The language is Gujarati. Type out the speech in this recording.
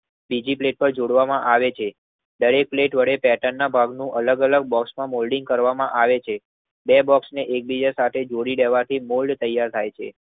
બીજી પ્લેટ પર જોડવામાં આવે છે. દરેક પ્લેટ વડે પેટનના ભાગમાં નું અલગ અલગ બોખ માં મોલ્ડિંગ કરવામાં આવે છે બે બોક્ષને એકબીજા સાથે જોડી દેવાથી મોલ્ડ તૈયાર થાય છે.